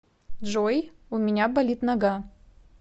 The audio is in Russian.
джой у меня болит нога